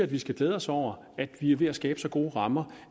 vi skal glæde os over at vi er ved at skabe så gode rammer